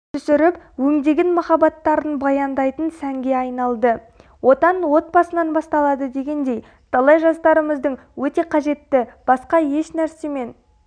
түсіріп өңдеген махаббаттарын баяндайтын сәнге айналды отан-отбасынан басталады дегендей талай жастарымыздың өте қажетті басқа ешнәрсемен